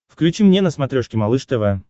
включи мне на смотрешке малыш тв